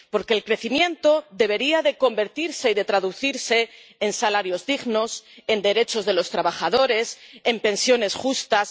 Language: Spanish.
Porque el crecimiento debería convertirse y traducirse en salarios dignos, en derechos de los trabajadores, en pensiones justas.